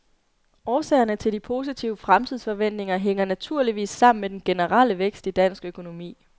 Årsagerne til de positive fremtidsforventninger hænger naturligvis sammen med den generelle vækst i dansk økonomi.